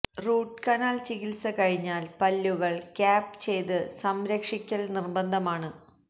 root canal ചികിത്സ കഴിഞ്ഞാല് പല്ലുകള് ക്യാപ്പ് ചെയ്ത് സംരക്ഷിക്കല് നിര്ബന്ധമാണ്